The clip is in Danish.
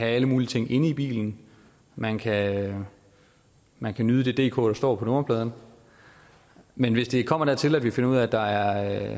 alle mulige ting inde i bilen man kan man kan nyde det dk der står på nummerpladen men hvis det kommer dertil at vi finder ud af at der